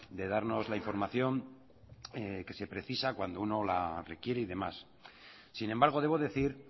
de darnos la información que se precisa cuando uno la requiere y demás sin embargo debo decir